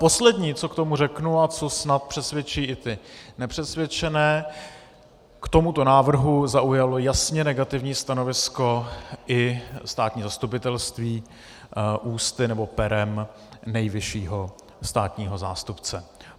Poslední, co k tomu řeknu a co snad přesvědčí i ty nepřesvědčené, k tomuto návrhu zaujalo jasně negativní stanovisko i státní zastupitelství ústy, nebo perem nejvyššího státního zástupce.